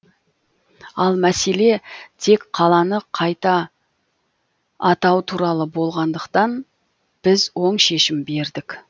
ал мәселе тек қаланы қайта атау туралы болғандықтан біз оң шешім бердік